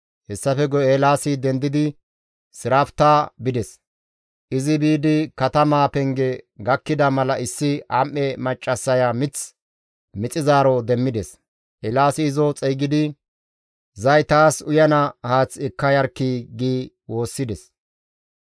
Hessafe guye Eelaasi dendidi Sirafta bides; izi biidi katamaa penge gakkida mala issi am7e maccassaya mith maxizaaro demmides; Eelaasi izo xeygidi, «Zay taas uyana haath ekka yarkkii!» gi woossides.